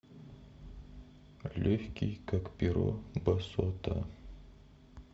легкий как перо басота